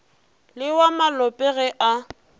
le wa malope ge a